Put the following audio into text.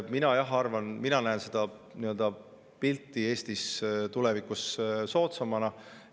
Mina näen seda pilti Eestis tulevikus soodsamana.